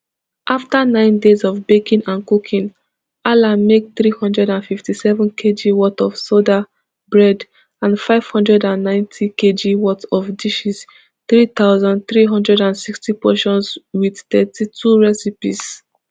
afta nine days of baking and cooking alan make three hundred and fifty-seven kg worth of soda bread and five hundred and ninetykg worth of dishes three thousand, three hundred and sixty portions wit thirty-two recipes